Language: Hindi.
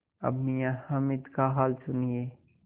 अब मियाँ हामिद का हाल सुनिए